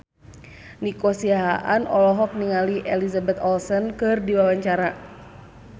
Nico Siahaan olohok ningali Elizabeth Olsen keur diwawancara